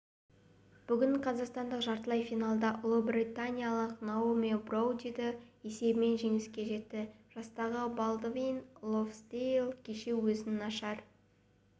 бүгін қазақстандық жартылай финалда ұлыбританиялық наоми броудиді есебімен жеңіске жетті жастағы балдвин лонсдейл кеше өзін нашар